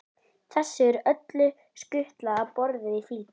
Þessu er öllu skutlað á borðið í flýti.